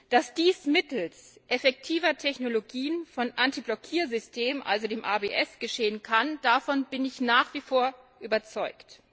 Dass dies mittels effektiver Technologien von Antiblockiersystemen, also dem ABS, geschehen kann, davon bin ich nach wie vor überzeugt.